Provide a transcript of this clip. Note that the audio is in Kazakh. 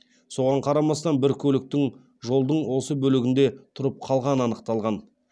соған қарамастан бір көліктің жолдың осы бөлігінде тұрып қалғаны анықталған